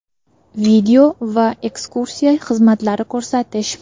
video va ekskursiya xizmatlari ko‘rsatish.